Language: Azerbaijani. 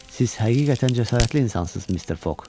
Siz həqiqətən cəsarətli insansız, Mister Foq.